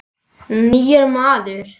Nýr maður.